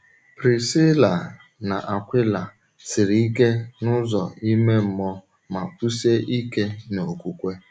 Prisíla na Akwịla siri ike n’ụzọ ìmè mmụọ ma kwụsie ike n’okwukwe.